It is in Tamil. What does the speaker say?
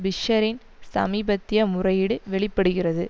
பிஷ்ஷரின் சமீபத்திய முறையீடு வெளி படுகிறது